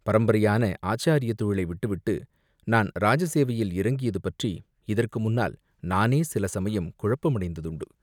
பரம்பரையான ஆச்சாரியத் தொழிலை விட்டுவிட்டு நான் இராஜ சேவையில் இறங்கியது பற்றி இதற்கு முன்னால் நானே சில சமயம் குழப்பமடைந்ததுண்டு.